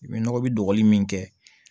I bɛ nɔgɔ bi dogoli min kɛ